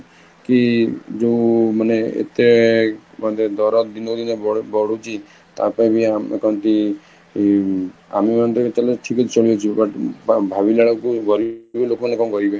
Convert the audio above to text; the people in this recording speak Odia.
କି ଯୋଉ ମାନେ ଏତେ କହନ୍ତି ଦର ଦିନକୁ ଦିନ ବଢୁଛି ତା ପାଇଁବି ଆମ କହନ୍ତି ଆମେ ମାନେ ଠିକ ଅଛି ଚାଲିଛୁ but ଭାବିଲା ବେଳକୁ ଗରିବ ଲୋକ ମାନେ କଣ କରିବେ?